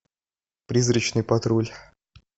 призрачный патруль